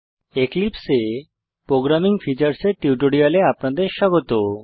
এক্লিপসে এ programming features এর টিউটোরিয়ালে আপনাদের স্বাগত